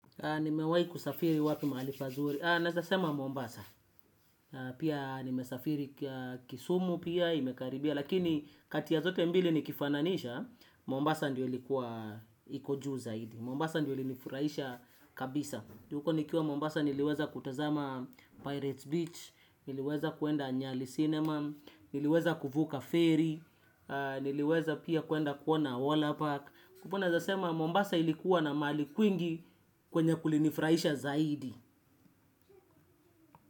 Nimewahi kusafiri wapi mahali pazuri, naeza sema Mombasa. Pia nimesafiri kisumu pia, imekaribia. Lakini kati ya zote mbili nikifananisha Mombasa ndio ilikuwa iko juu zaidi. Mombasa ndio ilinifurahisha kabisa juu huko nikiwa Mombasa niliweza kutazama Pirates Beach. Niliweza kuenda nyali sinema. Niliweza kuvuka ferry. Niliweza pia kuenda kuona Waller Park kwa hivyo naeza sema Mombasa ilikuwa na mahali kwingi kwenye kulinifurahisha zaidi.